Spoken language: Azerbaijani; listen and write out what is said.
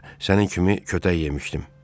Bir dəfə mən də sənin kimi kötək yemişdim.